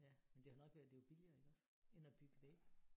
Ja men det har nok været det er jo billigere iggås end at bygge vægge